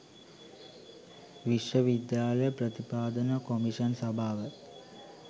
විශ්ව විද්‍යාල ප්‍රතිපාදන කොමිෂන් සභාව